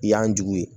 I y'an jugu ye